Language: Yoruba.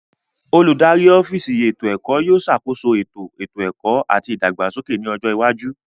Oludari ọfiisi eto ẹkọ yóò ṣakoso eto eto ẹkọ ati ìdàgbàsókè ni ọjọ iwaju.